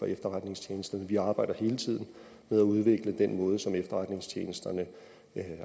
efterretningstjenesterne vi arbejder hele tiden med at udvikle den måde som efterretningstjenesterne